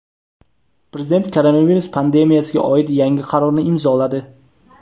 Prezident koronavirus pandemiyasiga oid yangi qarorni imzoladi.